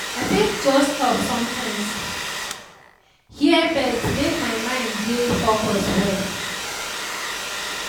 i fit just stop sometimes hear birds make my mind dey focus well.